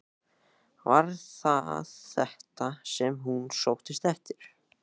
Var það þetta sem hún sóttist eftir?